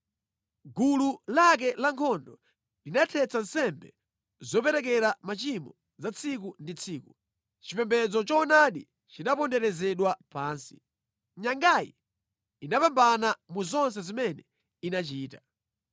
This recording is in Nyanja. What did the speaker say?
Gulu lake la nkhondo linathetsa nsembe zoperekera machimo za tsiku ndi tsiku; chipembedzo choonadi chinaponderezedwa pansi. Nyangayi inapambana mu zonse zimene inachita.